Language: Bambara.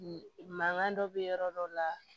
Mankan dɔ bɛ yɔrɔ dɔw la